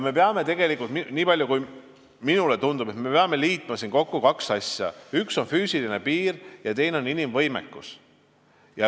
Me peame, niipalju kui minule tundub, liitma siin kokku kaks asja: üks on füüsiline piir ja teine on inimvõimekus.